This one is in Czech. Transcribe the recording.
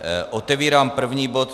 Otevírám první bod.